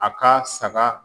A ka saga